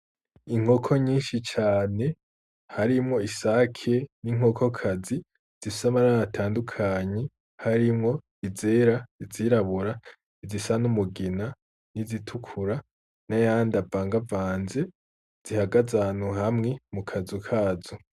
Inkoko nyinshi cane harimwo isake n'inkokokazi zifise amabara atandukanye harimwo izera, izirabura, izisa n'umugina n'izitukura n'ayandi avangavanze zihagaze ahantu hamwe mu kazu kazo.